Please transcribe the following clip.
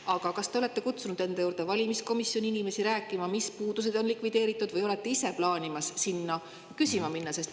Aga kas te olete kutsunud enda juurde valimiskomisjoni inimesi rääkima, mis puudused on likvideeritud, või olete ise plaaninud sinna küsima minna?